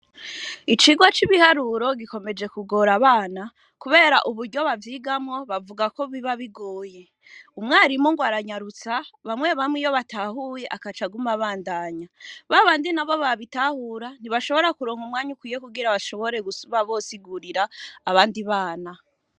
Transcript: Icirwa c'ibiharuro gikomeje kugora abana, kubera uburyo bavyigamwo bavuga ko biba bigoye umwarimu ngo aranyarutsa bamwe bamwe iyo batahuye akacagumabandanya babandi na bo babitahura ntibashobora kuronka umwanya ukwiye kugira bashobore kuba bosigurira abandi bana.